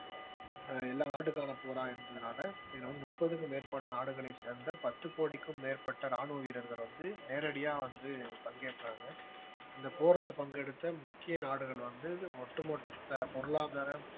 எல்லா நாட்டுக்கான போரா இருந்ததுனால இதுல வந்து முப்பதுக்கும் மேற்பட்ட நாடுகளை சேர்ந்த பத்து கோடிக்கும் மேற்பட்ட ராணுவ வீரர்கள் வந்து நேரடியா வந்து பங்கேற்றாங்க இந்த போர்ல பங்கெடுத்த முக்கிய நாடுகள் வந்து ஒட்டுமொத்த பொருளாதார